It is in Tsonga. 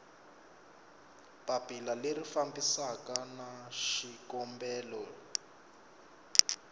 papila leri fambisanaku na xikombelo